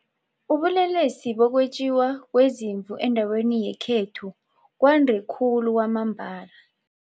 Ubulelesi bokwetjiwa kweziimvu endaweni yekhethu kwande khulu kwamambala.